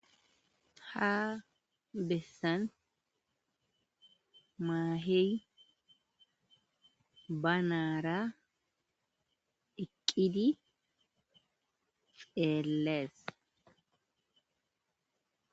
ha bessan maahey ba naara eqqidi xeellees